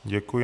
Děkuji.